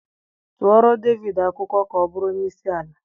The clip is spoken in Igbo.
Tụọrọ Devidii akwụkwọ ka ọbụrụ onye isi ala!